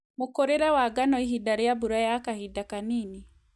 Mũkũrĩre wa ngano ihinda rĩa mbura ya kahinda kanini